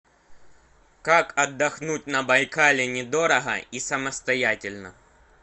как отдохнуть на байкале недорого и самостоятельно